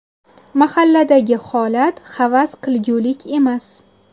Mahalladagi holat havas qilgulik emas.